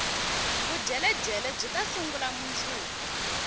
vudyeledyele byita sungula mundzuku